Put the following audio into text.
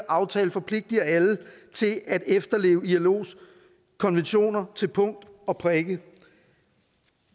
aftale forpligtiger alle til at efterleve ilos konventioner til punkt og prikke